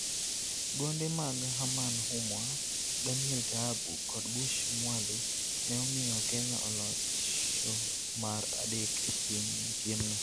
Gonde mag Herman Humwa, Daniel Taabu kod Bush Mwale ne omiyo Kenya olocho mar adek e piemno.